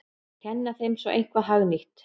Kenna þeim svo eitthvað hagnýtt!